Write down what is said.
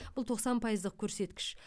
бұл тоқсан пайыздық көрсеткіш